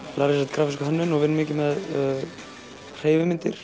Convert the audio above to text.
grafíska hönnun og vinn mikið með hreyfimyndir